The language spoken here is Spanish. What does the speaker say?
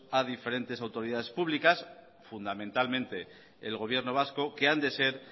a diferentes autoridades públicas fundamentalmente el gobierno vasco que han de ser